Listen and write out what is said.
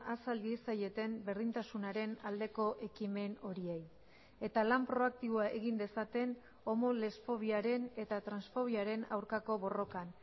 azal diezaieten berdintasunaren aldeko ekimen horiei eta lan proaktiboa egin dezaten homolesfobiaren eta transfobiaren aurkako borrokan